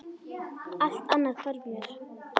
Allt annað hvarf mér.